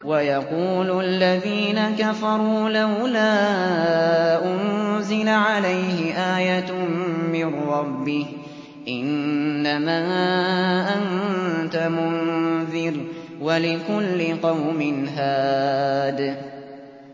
وَيَقُولُ الَّذِينَ كَفَرُوا لَوْلَا أُنزِلَ عَلَيْهِ آيَةٌ مِّن رَّبِّهِ ۗ إِنَّمَا أَنتَ مُنذِرٌ ۖ وَلِكُلِّ قَوْمٍ هَادٍ